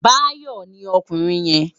Bayo ni òkúrin yèn